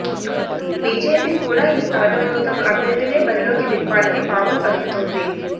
BJP కూడ ఈ స్థానంలో తమ అభ్యర్ధినే బరిలోకి దింపాలని పావులు కదుపులోంది